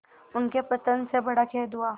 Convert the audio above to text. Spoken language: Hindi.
उनके पतन से बड़ा खेद हुआ